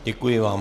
Děkuji vám.